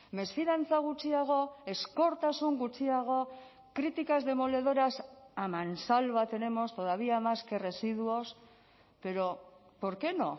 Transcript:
mesfidantza gutxiago ezkortasun gutxiago críticas demoledoras a mansalva tenemos todavía más que residuos pero por qué no